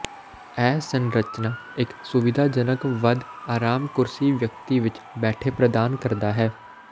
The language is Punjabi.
ਇਹ ਸੰਰਚਨਾ ਇੱਕ ਸੁਵਿਧਾਜਨਕ ਵੱਧ ਆਰਾਮ ਕੁਰਸੀ ਵਿਅਕਤੀ ਵਿੱਚ ਬੈਠੇ ਪ੍ਰਦਾਨ ਕਰਦਾ ਹੈ